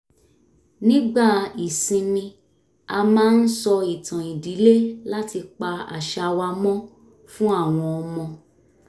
nígbà ìsinmi a máa ń sọ ìtàn ìdílé láti pa àṣà wa mọ́ fún àwọn ọmọ